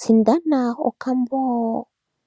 Sindana okambo